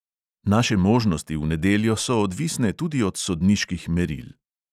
Naše možnosti v nedeljo so odvisne tudi od sodniških meril.